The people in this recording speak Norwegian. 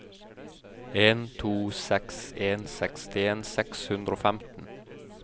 en to seks en sekstien seks hundre og femten